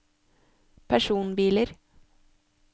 personbiler